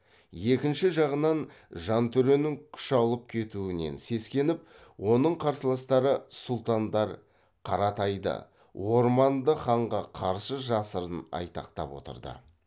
екінші жағынан жантөренің күш алып кетуінен сескеніп оның қарсыластары сұлтандар қаратайды орманды ханға қарсы жасырын айтақтап отырды